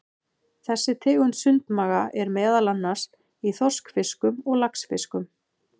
Þessi tegund sundmaga er meðal annars í þorskfiskum og laxfiskum.